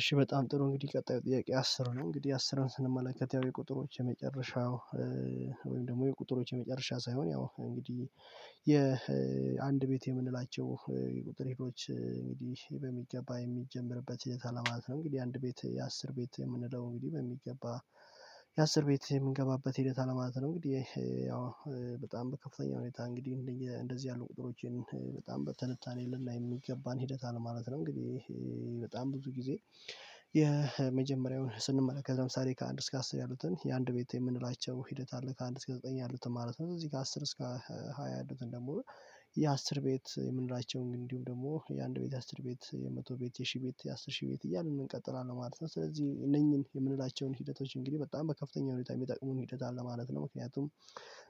እሺ በጣም ጥሩ እንግዲህ ቀጣዩ ጥያቄ አስር ነው እንግዲህ አስርን ስንመለከት ያው የቁጥሮች የመጨረሻው ወይም ደግሞ የቁጥሮች የመጨረሻ ሳይሆን ያው እንግዲህ የአንድ ቤት የምንላቸው ቁጥር ሄዶች እንግዲህ በሚገባ የሚጀምርበት የት አለ ማለት ነው። እንግዲህ አንድ ቤት የአስር ቤት የምንለው እንግዲህ በሚገባ የአስር ቤት የምንገባበት ሂደት አለ ማለት ነው። ይህ ያው በጣም በከፍተኛ ሁኔታ እንግዲህ እንደዚህ ያሉ ቁጥሮችን በጣም በተነታን የለንም የሚገባን ሂደት አለ ማለት ነው። እንግዲህ በጣም ብዙ ጊዜ የመጀመሪያውን ስንመላከት ለምሳሌ ከአንድ እስከ አስር ያሉትን የአንድ ቤት የምንላቸው ሂደት አለ ከአንድ እስከ ዘጠኝ ያሉትን ማለት ነው። እዚህ ጋር አስር እስከ ሃያ አራት ደግሞ የአስር ቤት የምንላቸውን ግን እንዲሁም ደግሞ የአንድ ቤት አስር ቤት የመቶ ቤት የሺህ ቤት የአስር ሺህ ቤት እያልን እንቀጥላለን ማለት ነው። ስለዚህ እነኚህን የምንላቸውን ሂደቶች እንግዲህ በጣም በከፍተኛ ሁኔታ የሚጠቅሙን ሂደት አለ ማለት ነው። ምክንያቱም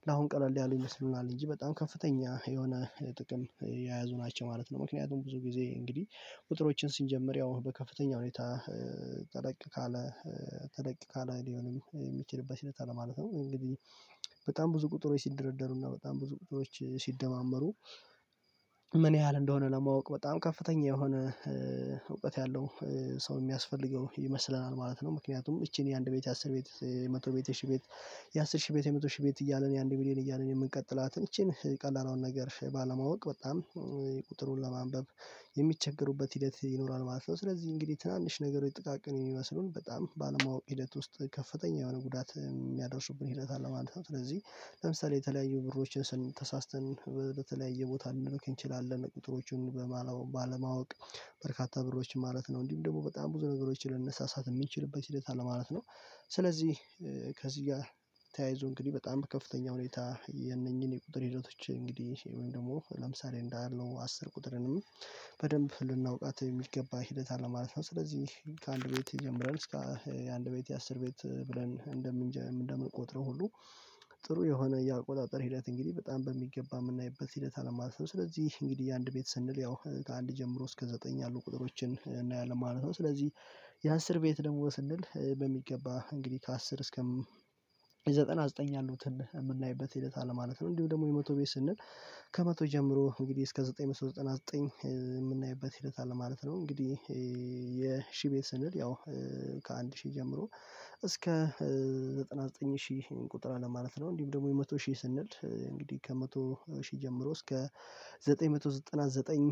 ለአሁን ቀለል ያለው ይመስሉናል እንጂ በጣም ከፍተኛ የሆነ ጥቅም የያዙ ናቸው ማለት ነው። ምክንያቱም ብዙ ጊዜ እንግዲህ ቁጥሮችን ሲንጀምር ያው በከፍተኛ ሁኔታ ተለቅ ካለ ተለቅ ካለ ሊሆንም የሚችልበት ሂደት አለ ማለት ነው። እንግዲህ በጣም ብዙ ቁጥሮች ሲደረደሩና በጣም ብዙ ቁጥሮች ሲደማመሩ ምን ያህል እንደሆነ ለማወቅ በጣም ከፍተኛ የሆነ እውቀት ያለው ሰው የሚያስፈልገው ይመስለናል ማለት ነው። ምክንያቱም እቺን የአንድ ቤት አስር ቤት የመቶ ቤት የ ሺህ ቤት የአስር ሺህ ቤት የመቶ ሺህ ቤት እያለን የአንድ ሚሊየን እያለን የምንቀጥላትን ይቺን ቀላል አሁን ነገር ባለማወቅ በጣም ቁጥሩን ለማንበብ የሚቸገሩበት ሂደት ይኖራል ማለት ነው። ስለዚህ እንግዲህ ትናንሽ ነገሮች ጥቃቅን የሚመስለውን በጣም ባለማወቅ ሂደት ውስጥ ከፍተኛ የሆነ ጉዳት የሚያደርሱብን ሂደት አለ ማለት ነው። ስለዚህ ለምሳሌ የተለያዩ ብሮችን ስን ተሳስተን በተለያየ ቦታ ልንልክ እንችላለን ቁጥሮቹን በባለማወቅ ባለማወቅ በርካታ ብሮች ማለት ነው። እንዲሁም ደግሞ በጣም ብዙ ነገሮችን ልንሰሳት የሚችልበት ሂደት አለ ማለት ነው። ስለዚህ ከዚህ ጋር ተያይዞ እንግዲህ በጣም ከፍተኛ ሁኔታ የነኚህን የቁጥር ሂደቶች እንግዲህ ወይም ደግሞ ለምሳሌ እንዳለው አስር ቁጥርንም በደንብ ልናውቃት የሚገባ ሂደት አለ ማለት ነው። ስለዚህ ከአንድ ቤት ጀምረን እስከ የአንድ ቤት የአስር ቤት ብለን እንደምንቆጥረው ሁሉ ጥሩ የሆነ የአቆጣጠር ሂደት እንግዲህ በጣም በሚገባ የምናይበት ሂደት አለማለት ነው። ስለዚህ እንግዲህ አንድ ቤት ስንል ያው ከአንድ ጀምሮ እስከ ዘጠኝ ያሉ ቁጥሮችን እናያለን ማለት ነው። ስለዚህ የአስር ቤት ደግሞ ስንል በሚገባ እንግዲህ ከአስር እስከም ዘጠና ዘጠኝ ያሉትን የምናይበት ሂደት አለ ማለት ነው። እንዲሁ ደግሞ የመቶ ቤት ስንል ከመቶ ጀምሮ እንግዲህ እስከ ዘጠኝ መቶ ዘጠና ዘጠኝ የምናይበት ሂደት አለ ማለት ነው። እንግዲህ የሺህ ቤት ስንል ያው ከአንድ ሺህ ጀምሮ እስከ ዘጠና ዘጠኝ ሺህ ቁጥር አለ ማለት ነው። እንዲሁም ደግሞ የመቶ ሺህ ስንል እንግዲህ ከመቶ ሺህ ጀምሮ እስከ ዘጠኝ መቶ ዘጠና ዘጠኝ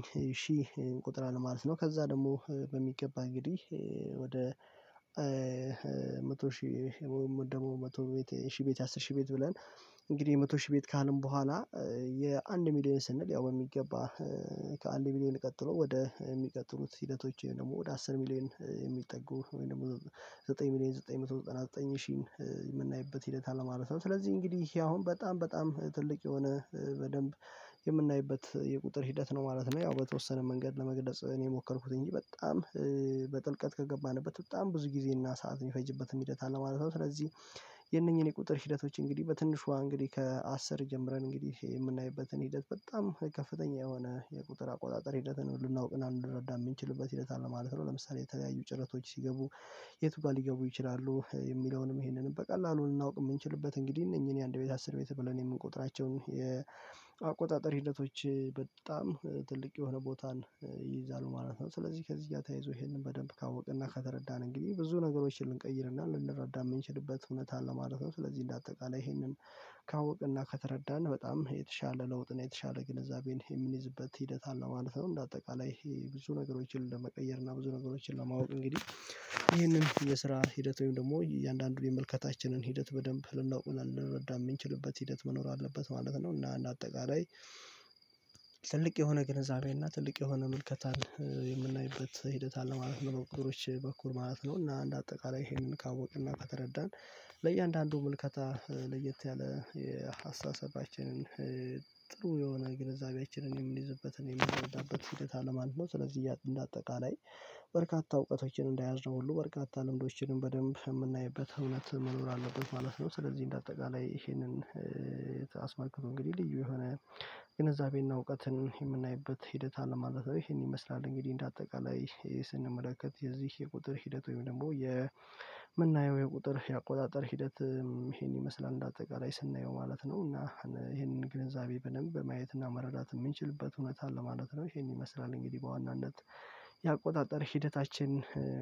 ሺህ ቁጥር አለ ማለት ነው። ከዛ ደግሞ በሚገባ እንግዲህ ወደ መቶ ሺህ ወይንም ደግሞ መቶ ቤት ሺህ ቤት ያ አስር ሺ ቤት ብለን እንግዲህ መቶ ሺህ ቤት ካልን በኋላ የአንድ ሚሊየን ስንል ያው በሚገባ ከአንድ ሚሊየን ቀጥሎ ወደ የሚቀጥሉት ሂደቶች ደግሞ ወደ አስር ሚሊዮን የሚጠጉ ወይም ደግሞ ዘጠኝ ሚሊየን ዘጠኝ መቶ ዘጠና ዘጠኝ ሺህ የምናይበት ሂደት አለ ማለት ነው። ስለዚህ እንግዲህ ይሄ አሁን በጣም በጣም ትልቅ የሆነ በደንብ የምናይበት የቁጥር ሂደት ነው ማለት ነው። ያው በተወሰነ መንገድ ለመግለጽ እኔ ሞከርኩት እንጂ በጣም በጥልቀት ከገባንበት በጣም ብዙ ጊዜ እና ሰዓት የሚፈጅበትን ሂደት አለ ማለት ነው። ስለዚህ የነኚህን የቁጥር ሂደቶች እንግዲህ በትንሿ እንግዲህ ከአስር ጀምረን እንግዲህ የምናይበትን ሂደት በጣም ከፍተኛ የሆነ የቁጥር አቆጣጠር ሂደትን ልናውቅና ልንረዳ የምንችልበት ሂደት አለ ማለት ነው። ለምሳሌ የተለያየ ጭረቶች ሲገቡ የትጋ ሊገቡ ይችላሉ የሚለውንም ይሄንን በቀላሉ ልናውቅ የምንችልበት እንግዲህ እነኚህን የአንድ ቤት አስር ቤት ብለን የምንቆጥራቸውን የአቆጣጠር ሂደቶች በጣም ትልቅ የሆነ ቦታን ይይዛሉ ማለት ነው። ስለዚህ ከዚህ ጋር ተያይዞ ይሄንን በደንብ ካወቅና ከተረዳን እንግዲህ ብዙ ነገሮችን ልንቀይርና ልንረዳ የምንችልበት እውነት አለ ማለት ነው። ስለዚህ እንደ አጠቃላይ ይሄንን ካወቅና ከተረዳን በጣም የተሻለ ለውጥ እና የተሻለ ግንዛቤን የምንይዝበት ሂደት አለው ማለት ነው። እንደ አጠቃላይ ብዙ ነገሮችን ለመቀየር እና ብዙ ነገሮችን ለማወቅ እንግዲህ ይህንን የስራ ሂደት ወይም ደግሞ እያንዳንዱ የምልከታችንን ሂደት በደንብ ልናውቅና ልንረዳ የምንችልበት ሂደት መኖር አለበት ማለት ነው። እና አንድ አጠቃላይ ትልቅ የሆነ ግንዛቤና ትልቅ የሆነ ምልከታን የምናይበት ሂደት አለ ማለት ነው። በቁጥሮች በኩል ማለት ነው። እና እንደ አጠቃላይ ይሄንን ካወቅንና ከተረዳን ለእያንዳንዱ ምልከታ ለየት ያለ የሀሳብ አስተያየታችንን ጥሩ የሆነ ግንዛቤያችንን የምንይዝበትን የምንደረዳበትን ሂደት አለማንም ነው። ስለዚህ እንደ አጠቃላይ በርካታ እውቀቶችን እንዳያዝነው ሁሉ በርካታ ልምዶችንም በደንብ የምናይበት እውነት መኖር አለብን ማለት ነው። ስለዚህ እንደ አጠቃላይ ይሄንን እንግዲህ ልዩ የሆነ ግንዛቤና እውቀትን የምናይበት ሂደት አለ ማለት ነው። ይሄን ይመስላል እንግዲህ እንደ አጠቃላይ ስንመለከት የዚህ የቁጥር ሂደት ወይም ደግሞ የምናየው የቁጥር የአቆጣጠር ሂደት ይሄን ይመስላል እንደ አጠቃላይ ስናየው ማለት ነው። እና ይሄንን ግንዛቤ በደንብ በማየትና መረዳት የምንችልበት እውነት አለ ማለት ነው። ይሄን ይመስላል እንግዲህ በዋናነት ያቆጣጠር ሂደታችን